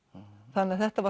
þannig að þetta